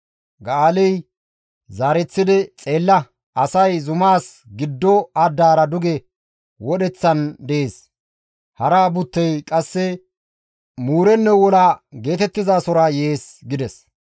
Ga7aaley qasseka, «Xeella! Asay zumaas giddo addaara duge wodheththan dees; hara buttey qasse muurenno wola geetettizasora yees» gides.